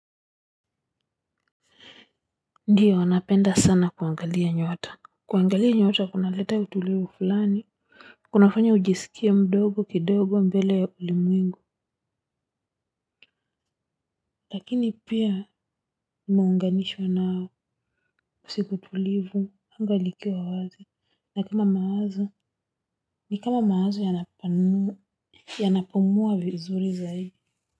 Ndio napenda sana kuangalia nyota kuangalia nyota kunaleta utulivu fulani kunafanya ujisikie mdogo kidogo mbele ya ulimwengu lakini pia unganishwa nao siku tulivu anga likiwa wazi na kama mawazo ni kama mawazo yanapanu yanapumuwa vizuri zaidi.